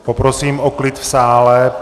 Poprosím o klid v sále.